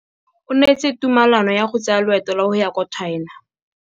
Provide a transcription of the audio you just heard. O neetswe tumalanô ya go tsaya loetô la go ya kwa China.